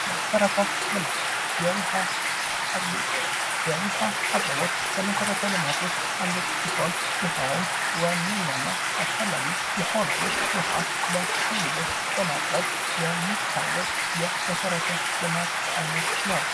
መሰረተ ልማት ፦ የዉሀ አቅርቦት ፦ የዉሀ አቅርቦት ከመሰረተ ልማት ውስጥ አንዱ ሲሆን ይሄውም ዋነኛ እና አስፈላጊ የሆነውን ውሃ ለሰው ልጆች በማቅረብ የሚከናውን የመሰረተ ልማት አይነት ነው።